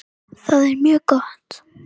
Það er mjög gott.